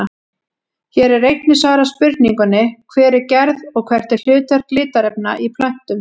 Hér er einnig svarað spurningunni Hver er gerð og hvert er hlutverk litarefna í plöntum?